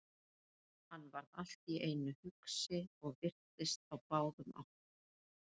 Hann varð allt í einu hugsi og virtist á báðum áttum.